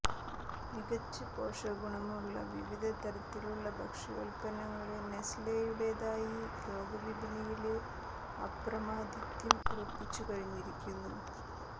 മികച്ച പോഷകഗുണങ്ങളുള്ള വിവിധ തരത്തിലുള്ള ഭക്ഷ്യോല്പ്പന്നങ്ങള് നെസ്റ്റ്ലെയുടേതായി ലോകവിപണിയില് അപ്രമാദിത്വം ഉറപ്പിച്ചു കഴിഞ്ഞിരിക്കുന്നു